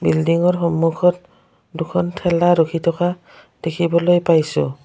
বিল্ডিংৰ সন্মুখত দুখন ঠেলা ৰখি থকা দেখিবলৈ পাইছোঁ।